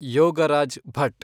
Yogaraj Bhat